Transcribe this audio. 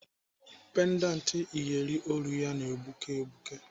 Pendant iyeri olu ya na-egbuke egbuke.